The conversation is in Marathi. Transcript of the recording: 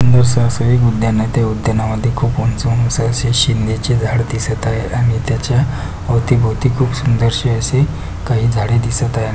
सुंदरस असं एक उद्यान आहे त्या उद्याना मध्ये खूप उंच-उंच असे शिंद्याची झाडं दिसत आहे आणि त्याच्या अवती-भोवती खूप सुंदरसे असे काही झाडे दिसत आहे.